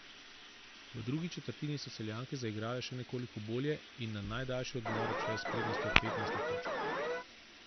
V drugi četrtini so Celjanke zaigrale še nekoliko bolje in na najdaljši odmor odšle s prednostjo petnajstih točk.